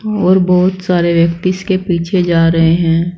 और बोहोत सारे व्यक्ति इसके पीछे जा रहे हैं।